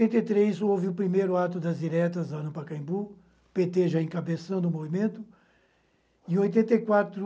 e três, houve o primeiro ato das diretas, Arampa-Caimbu, pê tê já encabeçando o movimento. Em oitenta e quatro